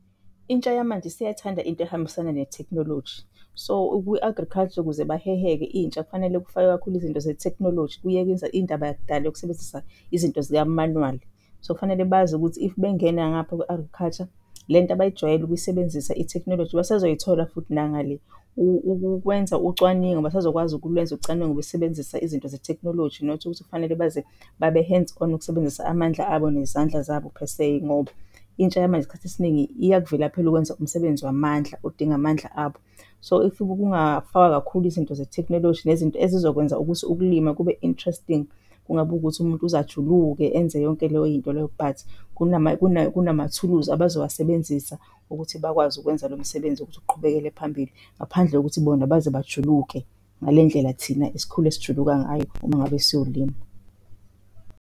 Intsha yamanje isiyayithanda into ehambisana netheknoloji. So, kwi-agriculture ukuze baheheke intsha, kufanele kufakwe kakhulu izinto zetheknoloji kuyekwe ukwenza indaba yakudala yokusebenzisa izinto zikamanuwali. So, kufanele bazi ukuthi if bengena ngapha kwi-agriculture le nto abayijwayele ukuyisebenzisa, itheknoloji basazoyithola futhi nangale. Ukwenza ucwaningo basazokwazi ukulwenza ucwaningo besebenzisa izinto zetheknoloji not ukuthi kufanele baze babe-hands on ukusebenzisa amandla abo nezandla zabo per se ngoba intsha yamanje isikhathi esiningi iyakuvilaphela ukwenza umsebenzi wamandla odinga amandla abo. So, if kungafakwa kakhulu izinto zetheknoloji nezinto ezizokwenza ukuthi ukulima kube interesting kungabi ukuthi umuntu uze ajuluke enze yonke leyo yinto leyo. But kunamathuluzi abazowasebenzisa ukuthi bakwazi ukwenza lo msebenzi wokuthi kuqhubekele phambili ngaphandle kokuthi bona baze bajuluke ngale ndlela thina esikhule sijuluka ngayo uma ngabe siyolima.